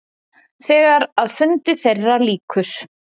Þegar að fundi þeirra lýkur.